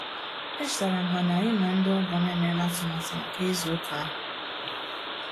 E chetara m ha na-anyị na ndị ọgọ m emela atụmatụ maka ịzụ ụka ahu